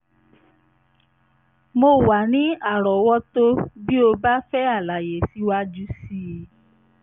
mo wà ní àrọ́wọ́tó bí o bá ń fẹ́ àlàyé síwájú sí i